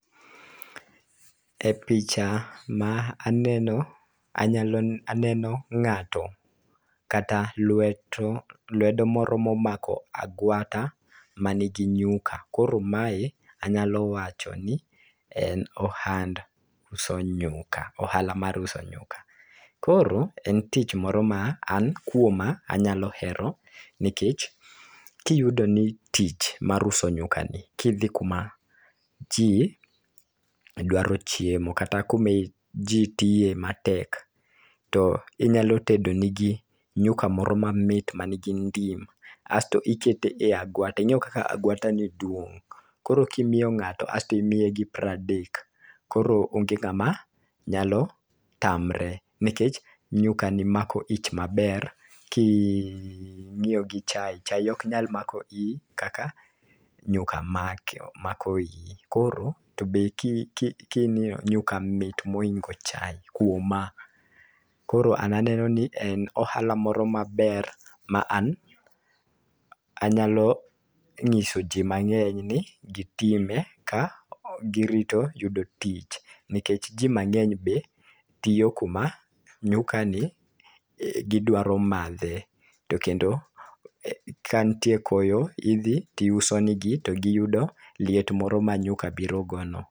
E picha ma aneno anyalo aneno ng'ato kata lweto lwedo moro momako agwata manigi nyuka .Koro mae anyalo wacho ni en ohand uso nyuka, ohala mar uso nyuka. Koro en tich moro an kuom a anyalo hero nikech kiyudo ni tich mar uso nyukani kidhi kuma jii dwaro chiemo kata kumi ji tiye matek to inyalo tedo ne gi nyuka moro mamit ma nigi ndima sto ikete agwata ing'eo kaka agwata ni duong'. Koro kimiyo ng'ato asto imiye gi pradek keoro onge ng'am a nyalo tamre nikech nyuka ni mako ich maber kinyiewo chai chai ok nyal mako ich kaka nyua mako iyi to be koro king'iyo nyuka mit moingo chai kuoma. Koro ana aneno ni en ohala moro maber ma ana anyalo ng'iso jii mang'eny ni gitime ka girito yudo tich nikech jii mang'eny be tiyo kuma nyuka ni gidwaro madhe .To kendo ka ntie koyo idhi tiuso ne gi to giyudo liet moro ma liet moro ma nyuka biro go no.